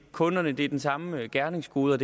kunderne er den samme gerningskode